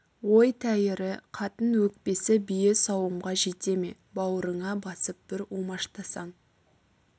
ой тәйірі қатын өкпесі бие сауымға жете ме бауырыңа басып бір умаштасаң